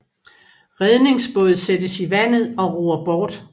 Redningsbåd sættes i vandet og ror bort